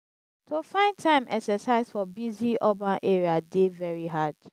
to find time exercise for busy urban area dey very hard.